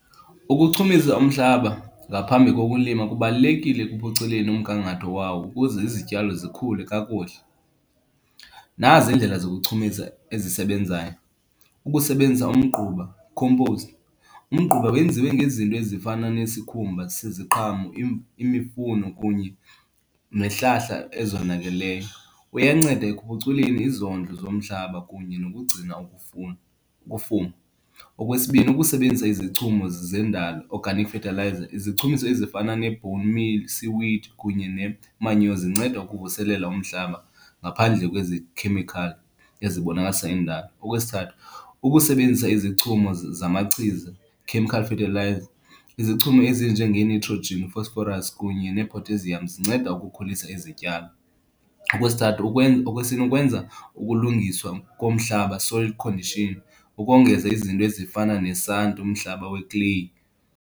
Ukuchumisa umhlaba ngaphambi kokulima kubalulekile ekuphuculeni umgangatho wawo ukuze izityalo zikhule kakuhle. Nazi iindlela zokuchumisa ezisebenzayo, kukusebenzisa umgquba, compost. Umgquba wenziwe ngezinto ezifana nesikhumba seziqhamo, imifuno kunye nezihlahla ezonakeleyo. Uyanceda ekuphuculeni izondlo zomhlaba kunye nokugcina ukufuna, ukufuma. Okwesibini, ukusebenzisa izichumo zendalo, organic fertilizer. Izichumiso ezifana ne-bone meal, seaweed kunye ne-manure zinceda ukuvuselela umhlaba ngaphandle kwezi khemikhali ezibonakalisa indalo. Okwesithathu, ukusebenzisa izichumiso zamachiza, chemical fertilizer. Izichumo ezinjengee-nitrogen, phosphorus kunye ne-potassium zinceda ukukhulisa izityalo. Okwesithathu okwesine, ukwenza ukulungiswa komhlaba, soil condition. Ukongeza izinto ezifana nesanti, umhlaba wekleyi.